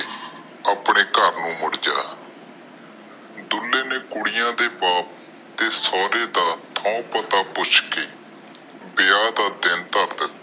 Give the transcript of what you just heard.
ਆਪਣੇ ਘਰ ਨੂੰ ਮੁੜ ਜਾ ਡੁਲ੍ਹੇ ਨੇ ਕੁੜੀਆਂ ਦੇ ਬਾਤ ਦਾ ਤੇ ਸੋਹਰੇ ਦਾ ਠੂ ਪਤਾ ਪੁੱਛ ਕੇ ਵਿਆਹ ਦਾ ਦਿਨ ਧਾਰ ਦਿੱਤੋ